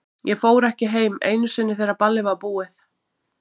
Ég fór ekki heim ekki einu sinni þegar ballið var búið.